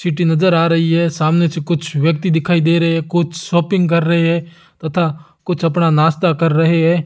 City नजर आ रही है सामने से कुछ व्यक्ति दिखाई दे रहे हैं कुछ शॉपिंग कर रहे हैं तथा कुछ अपना नाश्ता कर रहे हैं।